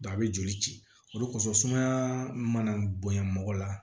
a bɛ joli ci olu kosɔn sumaya mana bonya mɔgɔ la